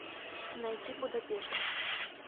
найти будапешт